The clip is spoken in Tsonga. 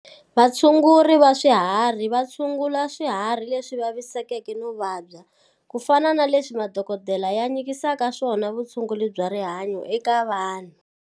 Vatshunguri va swiharhi va tshungula swihari leswi vavisekeke no vabya, ku fana na leswi madokodela ya nyikisaka swona vutshunguri bya rihanyo eka vanhu.